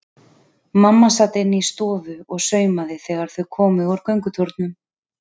Mamma sat inni í stofu og saumaði þegar þau komu úr göngutúrnum.